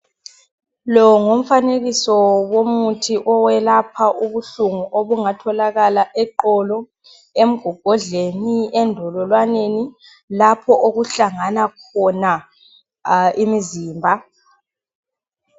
lo ngumfanekiso womuthi oyelapha ubuhlungu obungatholakala eqolo emgogodlweni endololwanenilapho okuhlangana khona imizimba